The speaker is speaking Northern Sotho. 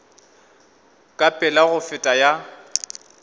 ka pela go feta ya